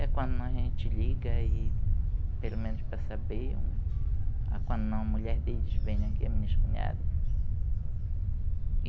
É quando a gente liga e, pelo menos para saber, um quando a mulher deles vem aqui, a minha ex-cunhada.